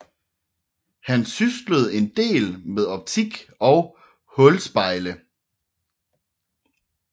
Han syslede en del med optik og hulspejle